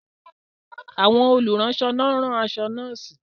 Àwọn olùránṣọ ló ń rán aṣọ nọ́ọ̀sì